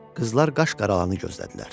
Qızlar qaş qaralanı gözlədilər.